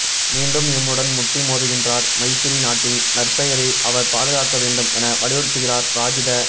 மீண்டும் எம்முடன் முட்டி மோதுகின்றார் மைத்திரி நாட்டின் நற்பெயரை அவர் பாதுகாக்க வேண்டும் என வலியுறுத்துகிறார் ராஜித